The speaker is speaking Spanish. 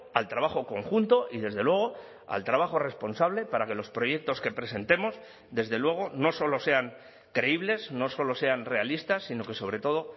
al trabajo conjunto y desde luego al trabajo responsable para que los proyectos que presentemos desde luego no solo sean creíbles no solo sean realistas sino que sobre todo